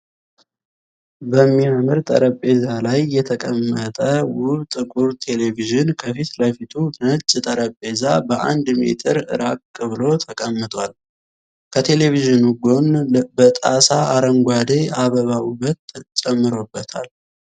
በሚያምር ጠረቤዛ ላይ የተቀመጠ ውብ ጥቁር ቴሌቪዥን ፤ ከፊት ለፊቱ ነጭ ጠረቤዛ በአንድ ሜትር ራቅ ብሎ ተቀምጧል ፤ ከቴሌቭዥኑ ጎን በጣሳ አረንጓዴ አበባ ውበት ጨምሮለታል።